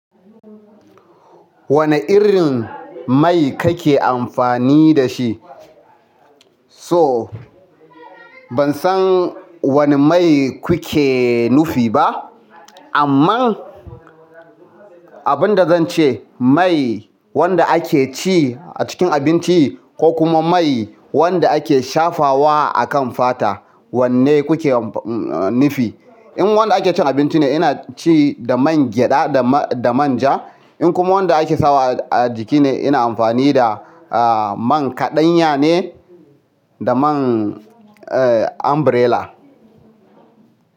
Wane irin mai kake amfani da shi? So ban san wane mai kuke nufi ba, amma abin da zan ce mai wanda ake ci a cikin abinci ko kuma mai wanda ake shafawa a kan fata wanne kuke nufi? In wanda ake cin abinci ne ina ci da man gyaɗa da manja. In kuma wanda ake sawa a jiki ne ina amfani da man kaɗanya ne da man umbrella.